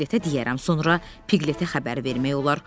Piqletə deyərəm, sonra Piqletə xəbər vermək olar.